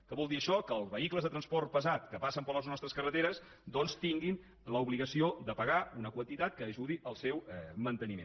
què vol dir això que els vehicles de transport pesat que passen per les nostres carreteres tinguin l’obligació de pagar una quantitat que ajudi al seu manteniment